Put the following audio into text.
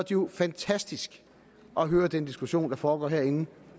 jo fantastisk at høre den diskussion der foregår herinde